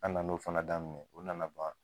An nana o fana daminɛ, o nana ban